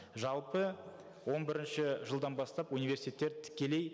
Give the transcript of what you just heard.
жалпы он бірінші жылдан бастап университеттер тікелей